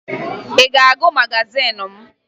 Ị ga-agụ magazin m?